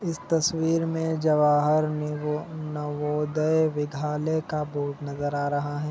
इस तस्वीर में जवाहर नीरव नवोदय विद्यालय का बोर्ड नजर आ रहा है ।